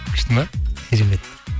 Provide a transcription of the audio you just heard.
күшті ме керемет